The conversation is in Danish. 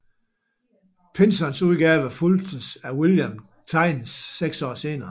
Pynsons udgave fulgtes af William Thynnes seks år senere